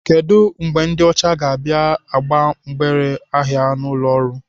Kedu mgbe ndị ọcha ga-abịa agba mgbere ahịa n'ụlọ ọrụ?